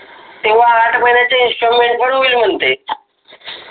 तेव्हा आठ महिन्याच्या इंस्टॉलमेंट पण होईल म्हणते.